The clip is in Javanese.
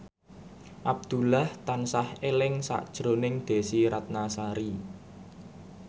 Abdullah tansah eling sakjroning Desy Ratnasari